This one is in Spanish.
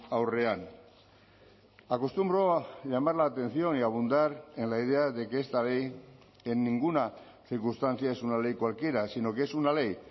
aurrean acostumbro a llamar la atención y a abundar en la idea de que esta ley en ninguna circunstancia es una ley cualquiera sino que es una ley